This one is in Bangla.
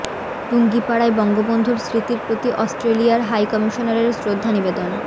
টুঙ্গিপাড়ায় বঙ্গবন্ধুর স্মৃতির প্রতি অস্ট্রেলিয়ার হাই কমিশনারের শ্রদ্ধা নিবেদন